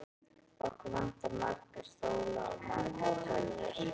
Okkur vantar marga stóla og margar tölvur.